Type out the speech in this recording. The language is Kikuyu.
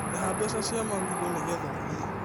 Rĩha mbeca cia marigũnigetha ũthiĩ